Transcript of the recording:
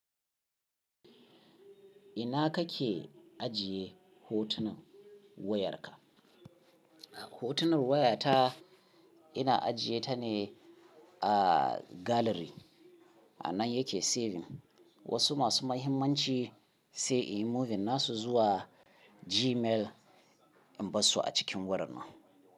Ina kake ajiye hotunan wayarka? Hotunan wayata ina ajiye ta ne a gallery. A nan yake saving. Wasu masu mahimmanci sai in yi moving nasu zuwa Gmail in bar su a cikin wurin nan.